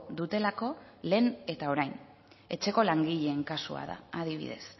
dutelako lehen eta orain etxeko langileen kasua da adibidez